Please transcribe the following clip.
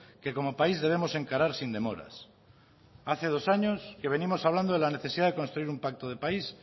que como país debemos encarar sin demoras hace dos años que venimos hablando de la necesidad de construir un pacto de país